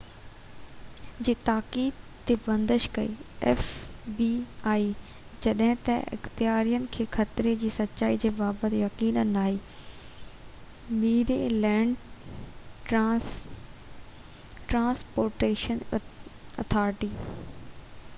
جڏهن ته اختيارين کي خطري جي سچائي جي بابت يقين ناهي Maryland transportation authority fbi جي تاڪيد تي بندش ڪئي